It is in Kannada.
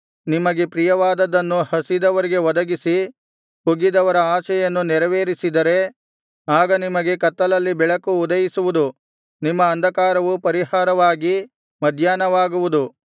ನಿಮಗೆ ಪ್ರಿಯವಾದದ್ದನ್ನು ಹಸಿದವರಿಗೆ ಒದಗಿಸಿ ಕುಗ್ಗಿದವರ ಆಶೆಯನ್ನು ನೆರವೇರಿಸಿದರೆ ಆಗ ನಿಮಗೆ ಕತ್ತಲಲ್ಲಿ ಬೆಳಕು ಉದಯಿಸುವುದು ನಿಮ್ಮ ಅಂಧಕಾರವು ಪರಿಹಾರವಾಗಿ ಮಧ್ಯಾಹ್ನವಾಗುವುದು